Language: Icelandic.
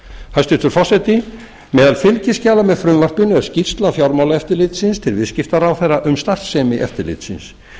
hæstvirtur forseti meðal fylgiskjala með frumvarpinu er skýrsla fjármálaeftirlitsins til viðskiptaráðherra um starfsemi eftirlitsins